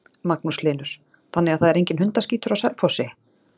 Magnús Hlynur: Þannig að það er enginn hundaskítur á Selfossi?